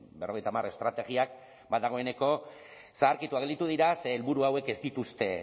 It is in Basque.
berrogeita hamar estrategiak ba dagoeneko zaharkituak gelditu dira ze helburu hauek ez dituzte